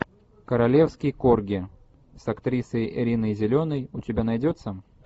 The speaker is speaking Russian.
королевский корги с актрисой риной зеленой у тебя найдется